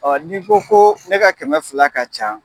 Ɔ ni ko ko ne ka kɛmɛ fila ka ca